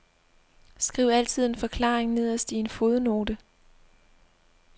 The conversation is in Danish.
Skriv altid en forklaring nederst i en fodnote.